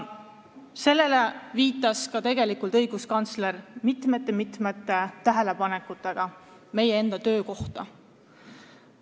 Sellele viitas tegelikult ka õiguskantsler mitmete tähelepanekutega meie töö kohta.